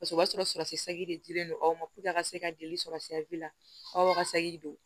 Paseke o b'a sɔrɔ sɔrɔ de dilen don aw ma a ka se ka joli sɔrɔ la aw ka don